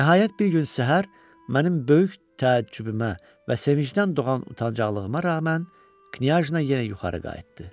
Nəhayət, bir gün səhər mənim böyük təəccübümə və sevincdən doğan utanacaqlığıma rəğmən Knyajna yenə yuxarı qayıtdı.